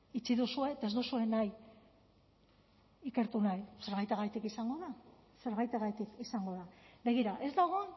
itxi duzue eta ez duzue nahi ikertu nahi zerbaitegatik izango da zerbaitegatik izango da begira ez dago